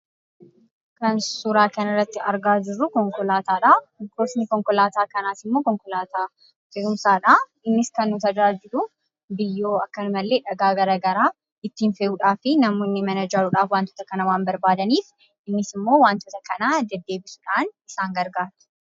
Kan suuraa kanarratti argaa jirruu konkolaataadhaa. Gosni konkolaataa kanaasimmoo konkolaataa fe'umsaadhaa. Innis kan nu tajaajiluu biyyoo akkanumallee dhagaa garagaraa ittiin fe'eedhaafi namoonni mana ijaaruudhaaf wantoota kana waan barbaadaniif innisimmoo wantoota kana deddeebisuudhaaf isaan gargaara.